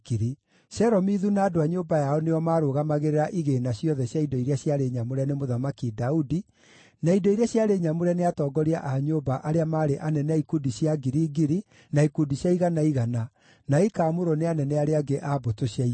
Shelomithu na andũ a nyũmba yao nĩo maarũgamagĩrĩra igĩĩna ciothe cia indo iria ciarĩ nyamũre nĩ Mũthamaki Daudi, na indo iria ciarĩ nyamũre nĩ atongoria a nyũmba arĩa maarĩ anene a ikundi cia ngiri ngiri na ikundi cia igana igana, na ikaamũrwo nĩ anene arĩa angĩ a mbũtũ cia ita.